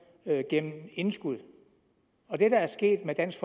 gennem indskud og det der er sket med dansk